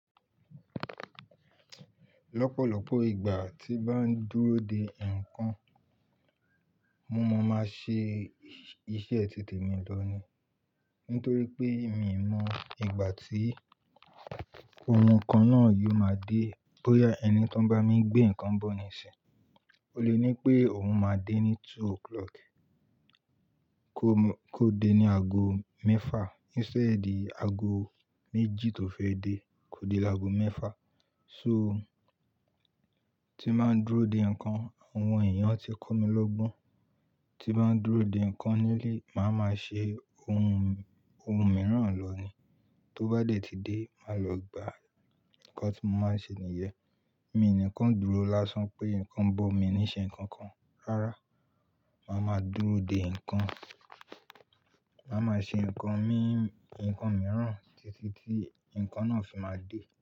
Lọ́pọ̀lọ́pọ̀ ìgbà tí bá ń dúró de ǹnkan, mo máa ń ṣe iṣẹ́ titẹ̀ mi lọ ni. Nítorí pé mi n mọ ìgbà tí ohun kan náà yóò máa dé. Bóyá ẹni tó ń bá mi gbé ǹnkan bọ̀ níṣinyi, ó le ní pé òun máa dé ní two o'clock kó dé ní ago mẹ́fà instead ago méjì tó fẹ́ dé, kó dé lago mẹ́fà. So tí n bá ń dúró de ǹnkan, àwọn èèyàn ti kọ́ mi lọ́gbọ́n. Tí bá ń dúró de ǹnkan nílé, màá ma ṣe ohun, ohun mìíràn lọ ni. Tó bá dẹ̀ ti dé, màá lọ gba ǹnkan tí mo máa ń ṣe nìyẹn. Mi nìkan dúró lásán pé ǹnkan ń bọ̀ mí ní ṣe nǹkan kan. Rárá, màá ma dúró de ǹnkan, màá ma ṣe ǹnkan mi, ǹnkan mìíràn títí tí ǹnkan náà fi máa dé.